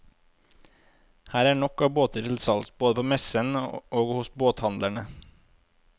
Her er nok av båter til salgs både på messen og hos båthandlerne.